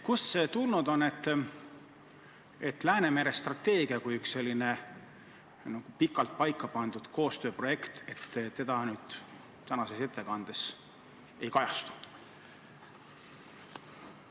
Millest see tuleb, et Läänemere strateegia kui üks selline pikalt paika pandud koostööprojekt tänases ettekandes ei kajastu?